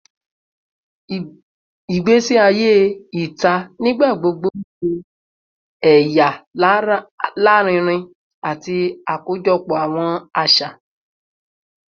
Igbesi aye ita nigbagbogbo n ṣe ẹya larinrin ati akojọpọ awọn aṣa